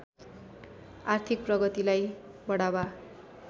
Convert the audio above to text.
आर्थिक प्रगतिलाई बढावा